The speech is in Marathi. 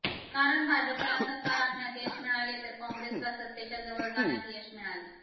कारण भाजपला सत्ता राखण्यात यश मिळाले तर कॉंग्रेसला सत्तेच्या जवळ जाण्यात यश मिळाले